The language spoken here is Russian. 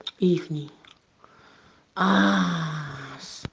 ихний аа с